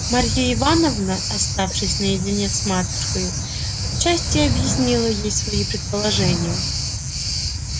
марья ивановна оставшись наедине с матушкою отчасти объяснила ей свои предположения